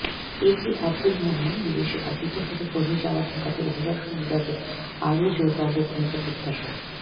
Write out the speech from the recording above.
এ K Abdul Momen বিদেশে অবৈধভাবে কর্মী যাওয়া ঠেকাতে অভিবাসন বিভাগের আরো জোরালো ভূমিকা প্রত্যাশা